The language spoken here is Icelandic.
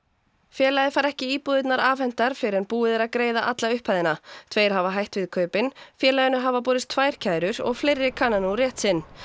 félagið fær ekki íbúðirnar afhentar fyrr en búið er að greiða alla upphæðina tveir hafa hætt við kaupin félaginu hafa borist tvær kærur og fleiri kanna nú rétt sinn